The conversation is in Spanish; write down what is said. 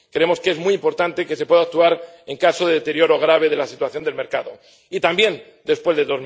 Creemos que es muy importante que se pueda actuar en caso de deterioro grave de la situación del mercado y también después de